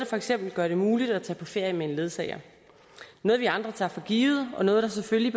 for eksempel gør det muligt at tage på ferie med en ledsager noget vi andre tager for givet og noget der selvfølgelig